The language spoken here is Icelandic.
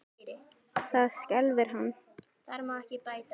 Það skelfir hann.